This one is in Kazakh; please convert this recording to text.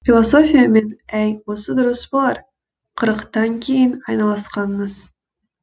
философиямен әй осы дұрыс болар қырықтан кейін айналысқаныңыз